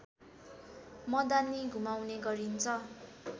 मदानी घुमाउने गरिन्छ